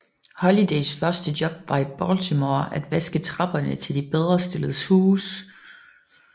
Holidays første job var i Baltimore at vaske trapperne til de bedrestilledes huse